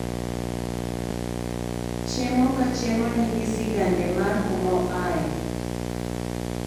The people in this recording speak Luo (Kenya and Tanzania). Chiemo ka chiemo nigi sigande mar kumoaye